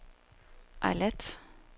Eilat